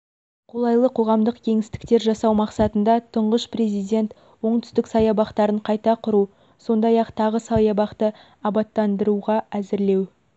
қолайлы қоғамдық кеңістіктер жасау мақсатында тұңғыш президент оңтүстік саябақтарын қайта құру сондай-ақ тағы саябақты абаттандыруға әзірлеу